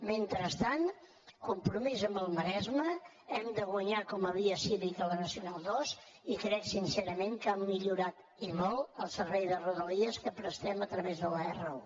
mentrestant compromís amb el maresme hem de guanyar com a via cívica la nacional ii i crec sincerament que ha millorat i molt el servei de rodalies que prestem a través de la r1